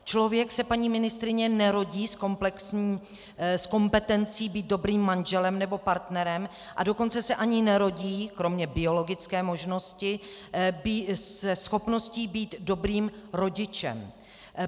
Člověk se, paní ministryně, nerodí s kompetencí být dobrým manželem nebo partnerem, a dokonce se ani nerodí, kromě biologické možnosti, se schopností být dobrým rodičem.